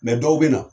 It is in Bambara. dɔw bɛ na